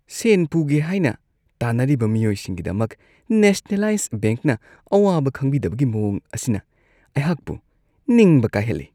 ꯁꯦꯟ ꯄꯨꯒꯦ ꯍꯥꯏꯅ ꯇꯥꯅꯔꯤꯕ ꯃꯤꯑꯣꯏꯁꯤꯡꯒꯤꯗꯃꯛ ꯅꯦꯁꯅꯦꯂꯥꯏꯖ ꯕꯦꯡꯛꯅ ꯑꯋꯥꯕ ꯈꯪꯕꯤꯗꯕꯒꯤ ꯃꯋꯣꯡ ꯑꯁꯤꯅ ꯑꯩꯍꯥꯛꯄꯨ ꯅꯤꯡꯕ ꯀꯥꯏꯍꯜꯂꯤ ꯫